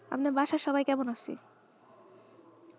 আপনার বাসায় সবাই কেমন আছে?